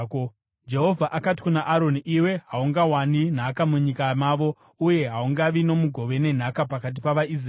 Jehovha akati kuna Aroni, “Iwe haungawani nhaka munyika mavo, uye haungavi nomugove nenhaka pakati pavaIsraeri.